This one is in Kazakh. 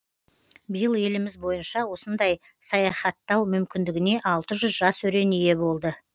биыл еліміз бойынша осындай саяхаттау мүмкіндігіне алты жүз жас өрен ие болды